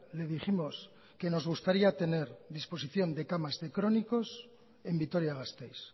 le dijimos que nos gustaría tener disposición de camas de crónicos en vitoria gasteiz